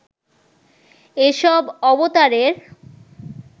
এসব অবতারের